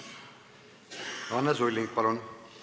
Anne Sulling, palun!